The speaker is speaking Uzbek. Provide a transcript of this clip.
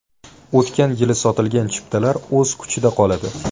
O‘tgan yili sotilgan chiptalar o‘z kuchida qoladi.